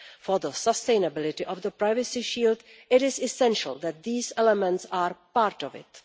For the sustainability of the privacy shield it is essential that these elements are part of it.